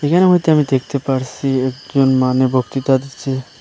এখানের মইধ্যে আমি দেখতে পারসি একজন মানু বক্তৃতা দিচ্ছে।